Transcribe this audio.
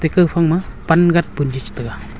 gaopha ma pan gat punjit taga.